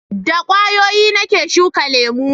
da ƙwayoyi na ke shuka lemo